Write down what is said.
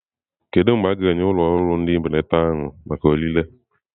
Kedu mgbe a ga-enye ụlọ ndị ahụ mbelata maka ọrịre?